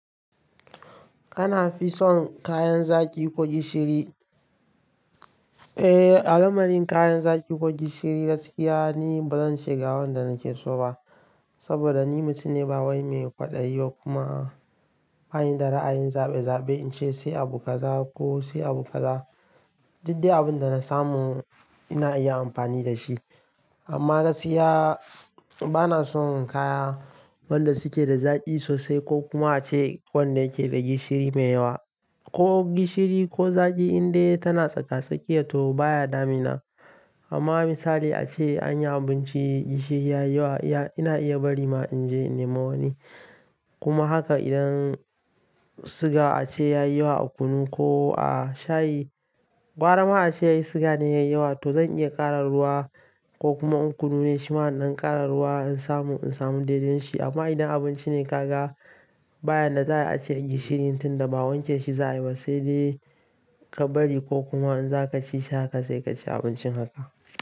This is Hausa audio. Kana fin so kayan zaƙi ko gishiri? Eh, a lamarin kayan zaƙi ko gishiri gaskiya ni bazan shiga wanda nake so ba. Saboda ni mutum ne bawain mai faɗan yi ba kuma bani da ra'ayin zaɓe zaɓe in ce sai abu kaza ko sai abu kaza. Diddai abinda na samu ina iya amfani da shi. Amma gaskiya bana son kaya wanda suke da zaƙi sosai ko kuma ace wanda yake da gishiri me yawa. Ko gishiri ko zaƙi in dai tana tsaka tsakiya to baya damina. Amma misali ace anyi abinci gishiri ya yi wa, ina iya bari ma inje in nema wani. Kuma haka idan suga ace yayi wa a kunu ko a shayi, gwara ma ace suga ne yayi yawa to zan iya ƙara ruwa ko kuma in kunu ne shi ma idan ƙara ruwa in samu, in samu daidain shi. Amma idan abinci ne kaga bayan da za a ace gishirin tun da ba wanke shi za'a yi ba sai dai ka bari ko kuma in za ka ci shi haka sai ka ci abincin haka.